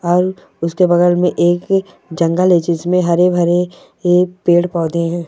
और उसके बगल मे एक कि जंगल है जीसमे हरे-भरे ए- पेड-पौधे है।